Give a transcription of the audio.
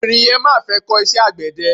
Obìnrin yẹn má fẹ́ kó iṣẹ́ àgbẹ̀dẹ.